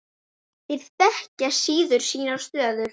Þeir þekkja síður sína stöðu.